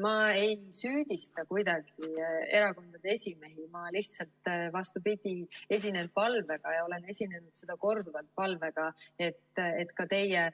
Ma ei süüdista kuidagi erakondade esimehi, ma lihtsalt, vastupidi, esinen palvega ja olen esinenud korduvalt palvega, et ka teie